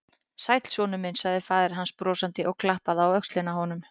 Sæll, sonur minn sagði faðir hans brosandi og klappaði á öxlina á honum.